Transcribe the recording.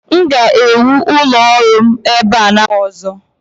M ga-ewu ụlọ ọrụ m ebe a n'afọ ọzọ